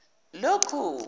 lokhu